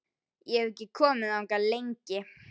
Ég hef ekki komið þangað lengi.